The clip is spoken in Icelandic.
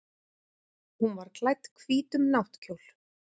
Hún var klædd hvítum náttkjól.